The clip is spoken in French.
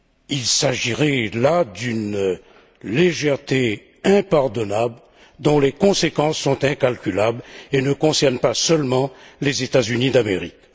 Il s'agirait là d'une légèreté impardonnable dont les conséquences sont incalculables et ne concernent pas seulement les États Unis d'Amérique.